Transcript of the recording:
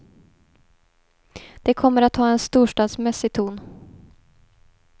Det kommer att ha en storstadsmässig ton.